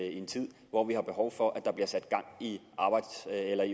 en tid hvor vi har behov for at der bliver sat gang i